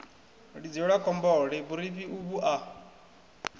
lidzelwa khombole vhurifhi uvhu a